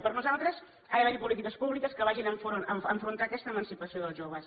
per nosaltres ha d’haver hi polítiques públiques que vagin a afrontar aquesta emancipació dels joves